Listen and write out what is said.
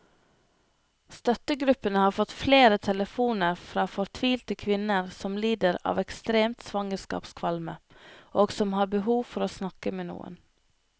Støttegruppen har fått flere telefoner fra fortvilte kvinner som lider av ekstrem svangerskapskvalme, og som har behov for å snakke med noen.